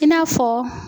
I n'a fɔ